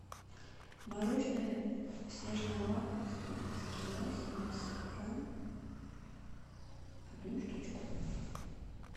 мороженое снежное лакомство эскимо семьдесят грамм одну штучку